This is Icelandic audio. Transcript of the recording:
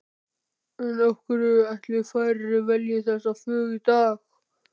En af hverju ætli færri velji þessi fög í dag?